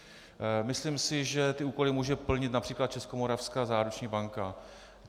Myslím si, že ty úkoly může plnit například Českomoravská záruční banka.